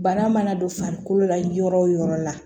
Bana mana don farikolo la yɔrɔ o yɔrɔ la